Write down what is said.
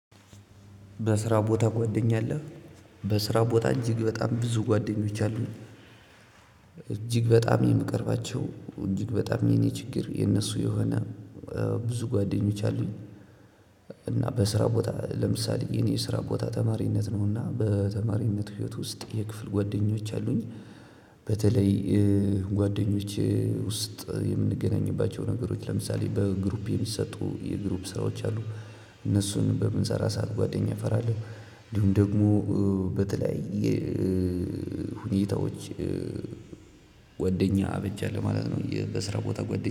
በስራ ቦታ ጓደኛ አለ። በስራ ቦታ እጅግ በጣም ብዙ ጓደኞች አሉኝ። እጅግ በጣም የምቀርባቸው እጅግ በጣም የኔ ችግር የነሱ የሆነ ብዙ ጓደኞች አሉኝ። እና በስራ ቦታ ለምሳሌ የኔ የስራ ቦታ ተማሪነት ነውና በተማሪነት ህይወት ውስጥ የክፍል ጓደኞች አሉኝ። በተለይ ጓደኞቼ ውስጥ የምንገናኝባቸው ነገሮች ለምሳሌ በግሩፕ የሚሰጡ የግሩፕ ስራዎች አሉ። እነሱን በምንሰራ ሰዓት ጓደኛ አፈራለሁ። እንዲሁም ደግሞ በተለያየ ሁኔታዎች ጓደኛ አበጃለው ማለት ነው። በስራ ቦታ ጎደኛ